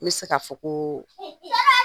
N bɛ se ka fɔ ko